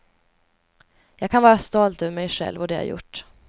Jag kan vara stolt över mig själv och det jag gjort.